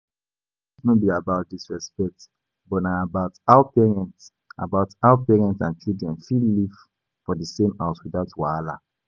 Boundaries no be about disrespect but na about how parents about how parents and children fit live for the same house without wahala